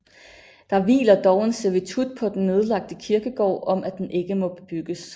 Der hviler dog en servitut på den nedlagte kirkegård om at den ikke må bebygges